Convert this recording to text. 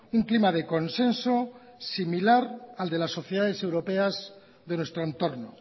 un clima de consenso similar al de las sociedades europeas de nuestro entorno